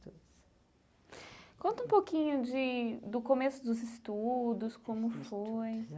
Conta um pouquinho de do começo dos estudos, como foi. estudos